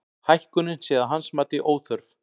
Hækkunin sé að hans mati óþörf